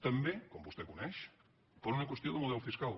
també com vostè coneix per una qüestió de mo·del fiscal